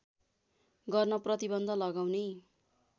गर्न प्रतिबन्ध लगाउने